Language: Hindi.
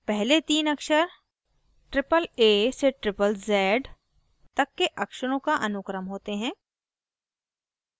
पहले the अक्षर aaa से zzz तक के अक्षरों का अनुक्रम होते हैं